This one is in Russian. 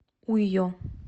уйо